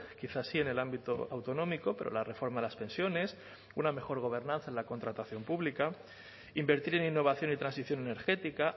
quizá sí en el ámbito autonómico pero la reforma de las pensiones una mejor gobernanza en la contratación pública invertir en innovación y transición energética